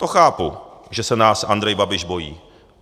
To chápu, že se nás Andrej Babiš bojí.